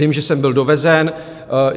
Vím, že sem byl dovezen.